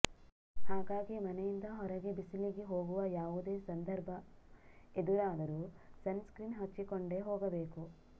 ಹಾಗಾಗಿ ಮನೆಯಿಂದ ಹೊರಗೆ ಬಿಸಿಲಿಗೆ ಹೋಗುವ ಯಾವುದೇ ಸಂದರ್ಭ ಎದುರಾದರೂ ಸನ್ ಸ್ಕ್ರೀನ್ ಹಚ್ಚಿಕೊಂಡೇ ಹೋಗಬೇಕು